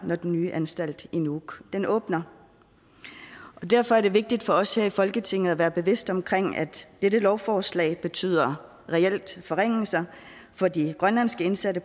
når den nye anstalt i nuuk åbner derfor er det vigtigt for os her i folketinget at være bevidste om at dette lovforslag betyder reelle forringelser for de grønlandske indsatte